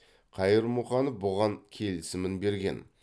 қайырмұханов бұған келісімін берген